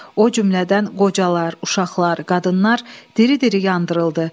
O cümlədən qocalar, uşaqlar, qadınlar diri-diri yandırıldı.